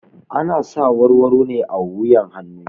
Ana sa warwaro ne a wuyan hanu